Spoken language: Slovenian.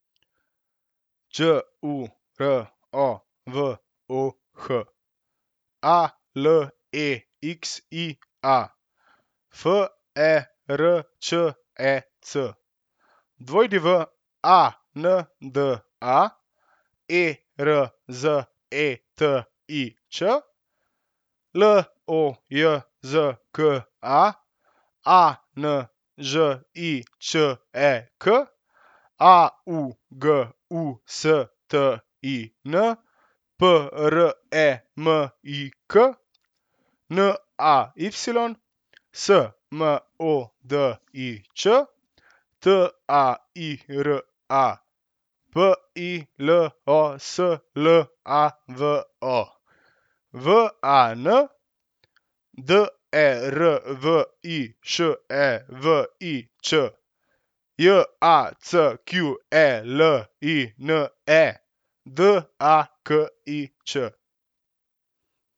Đ U R O, V O H; A L E X I A, F E R Č E C; W A N D A, E R Z E T I Č; L O J Z K A, A N Ž I Č E K; A U G U S T I N, P R E M I K; N A Y, S M O D I Č; T A I R A, B I L O S L A V O; V A N, D E R V I Š E V I Ć; J A C Q E L I N E, D A K I Č.